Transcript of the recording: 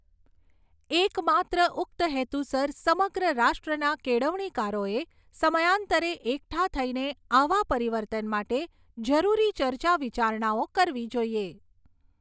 એકમાત્ર ઉક્ત હેતુસર સમગ્ર રાષ્ટ્રના કેળવણીકારોએ સમયાન્તરે એકઠા થઈને આવા પરિવર્તન માટે જરૂરી ચર્ચા વિચારણાઓ કરવી જોઈએ.